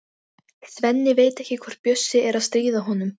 Svenni veit ekki hvort Bjössi er að stríða honum.